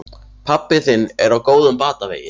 Pabbi þinn er á góðum batavegi.